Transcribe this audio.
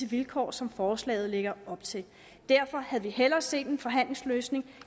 vilkår som forslaget lægger op til derfor havde vi hellere set en forhandlingsløsning